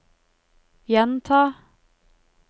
gjenta